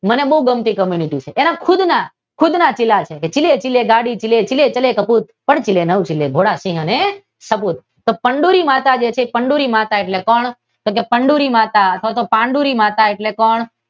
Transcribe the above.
મને ખૂબ ગમતી કૉમ્યુનિટી છે એ ખુદ ને ખુદના ચિલે ચિલે ગાડી ચિલે ચિલે પ્રભુ, નવ ચિલે ભોળા સિંહ ને સાબૂત. તો ચંદૂરી માતા છે તે કંડૂલી એટલે પાંડુલી માતા